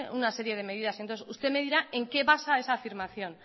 una serie de medidas entonces usted me dirá en qué basa esa afirmación